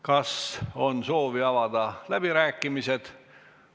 Kas on soovi pidada läbirääkimisi?